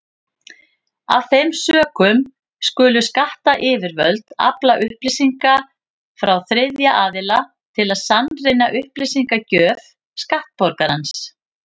Af þeim sökum skulu skattyfirvöld afla upplýsinga frá þriðja aðila til að sannreyna upplýsingagjöf skattborgarans.